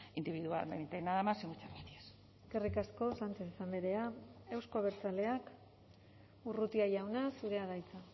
individualmente nada más y muchas gracias eskerrik asko sánchez andrea euzko abertzaleak urrutia jauna zurea da hitza